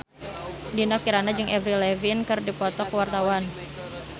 Dinda Kirana jeung Avril Lavigne keur dipoto ku wartawan